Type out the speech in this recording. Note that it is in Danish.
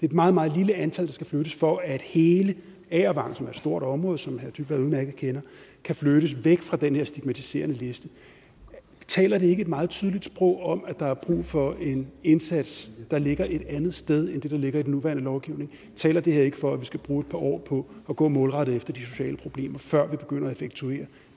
et meget meget lille antal der skal flyttes for at hele agervang som er et stort område og som herre kaare dybvad udmærket kender kan flyttes væk fra den her stigmatiserende liste taler det ikke et meget tydeligt sprog om at der er brug for en indsats der ligger et andet sted end det der ligger i den nuværende lovgivning taler det her ikke for at vi skal bruge et par år på at gå målrettet efter de sociale problemer før vi begynder at effektuere